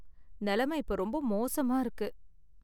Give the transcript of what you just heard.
நெலம இப்ப ரொம்ப மோசமா இருக்கு.